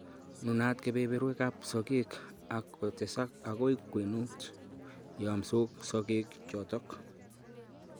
Nunat kebeberwegap sogeek ak kotesak agoi kwenut, yamsot sogeek chotok